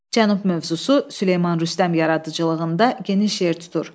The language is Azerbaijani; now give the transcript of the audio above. Cənub mövzusu Süleyman Rüstəm yaradıcılığında geniş yer tutur.